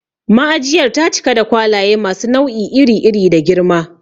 Ma'ajiyar ta cika da kwalaye masu nau'i iri iri da girma.